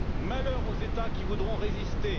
Malheur aux États qui voudront résister.